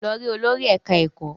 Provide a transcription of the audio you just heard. Lọ rí olórí ẹ̀ká ẹ̀kọ́!